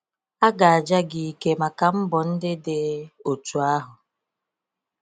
A ga aja gị ike maka mbọ ndị dị otu ahụ